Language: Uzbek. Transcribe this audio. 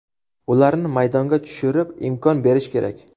Ularni maydonga tushirib, imkon berish kerak.